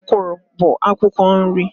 Okwụrụ bụ akwukwo nri.